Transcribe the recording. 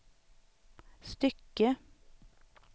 stycke